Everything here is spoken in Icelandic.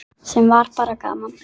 Sem var bara gaman.